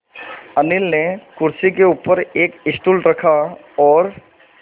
अनिल ने कुर्सी के ऊपर एक स्टूल रखा और